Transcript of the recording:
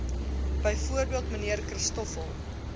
bv mnr christoffel